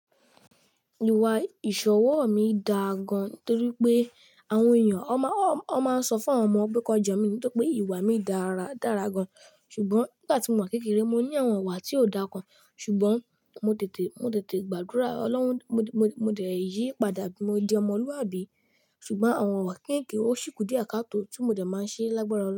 Ìwà ìṣọwọ́ mi dáa gan-an torí pé àwọn ènìyàn a máa, a máa ń sọ fún àwọn ọmọ pé kan jo mi nítorí pé ìwà mi dára dára gan-an. Ṣùgbọ́n nígbà tí mò wà n kékeré, mo ní àwọn ìwà tí ò dáa kan, ṣùgbọ́n mo tètè, mo tètè gbàdúrà Olọ́run, mo, mo, mo dẹ̀ yí padà mo di ọmọlúwàbí. Ṣùgbọ́n àwọn ìwà kekeke ò ṣìkù díẹ̀ káàtó tí mo dẹ̀ máa ṣe lágbára Ọlọ́run.